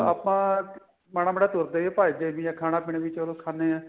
ਆਪਾਂ ਮਾੜਾ ਮਾੜਾ ਤੁਰਦੇ ਵੀ ਭੱਜਦੇ ਵੀ ਆ ਖਾਣਾ ਪੀਣਾ ਵੀ ਚਲੋ ਖਾਨੇ ਆ